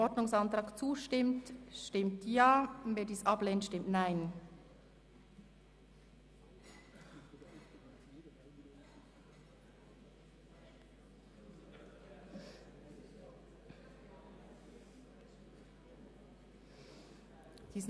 Kommissionssprecher und Antragsteller/-innen Änderung der Debattenform (EP 2018, VA/AFP inkl. M 196-2017 + M 197-2017)